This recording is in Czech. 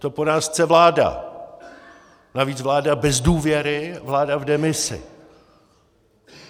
To po nás chce vláda, navíc vláda bez důvěry, vláda v demisi.